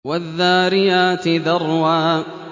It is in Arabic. وَالذَّارِيَاتِ ذَرْوًا